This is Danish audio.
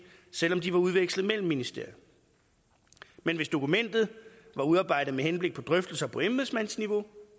selv om de var udvekslet mellem ministerier men hvis dokumentet var udarbejdet med henblik på drøftelser på embedsmandsniveau